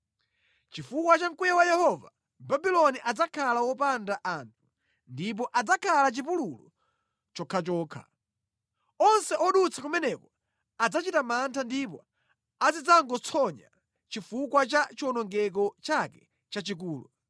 Chifukwa cha mkwiyo wa Yehova Babuloni adzakhala wopanda anthu ndipo adzakhala chipululu chokhachokha. Onse odutsa kumeneko adzachita mantha ndipo azidzangotsonya chifukwa cha chiwonongeko chake chachikulu.